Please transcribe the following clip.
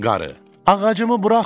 Qarı: Ağacımı buraxın!